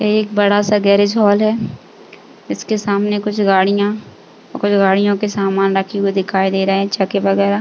ये एक बड़ा-सा गैरेज हाॅल है जिसके सामने कुछ गाड़ियां कुछ गाड़ियों के सामान रखे हुए दिखाई दे रहे है। चक्के वगैरा--